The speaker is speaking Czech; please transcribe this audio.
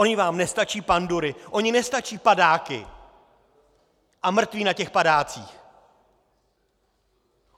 Ony vám nestačí pandury, ony nestačí padáky a mrtví na těch padácích?